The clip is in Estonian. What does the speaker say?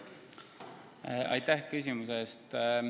Aitäh küsimuse eest!